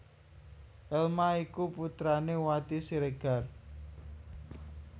Elma iku putrané Wati Siregar